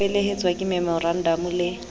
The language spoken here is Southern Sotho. ho felehetswa ke memorandamo le